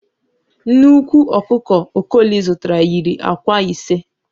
Nnekwu ọkụkọ Okoli zụtara yiri ạ̀kwạ́ ise.